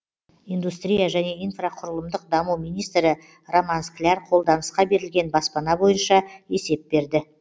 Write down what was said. индустрия және инфрақұрылымдық даму министрі роман скляр қолданысқа берілген баспана бойынша есеп берді